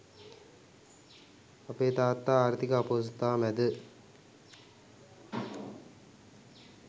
අපේ තාත්තා ආර්ථික අපහසුතා මැද